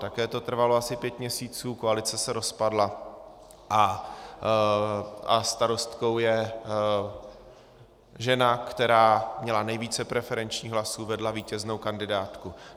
Také to trvalo asi pět měsíců, koalice se rozpadla a starostkou je žena, která měla nejvíce preferenčních hlasů, vedla vítěznou kandidátku.